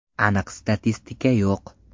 Aniq statistika yo‘q.